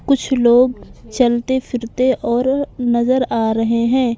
कुछ लोग चलते फिरते और नजर आ रहे हैं।